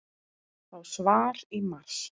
Fá svar í mars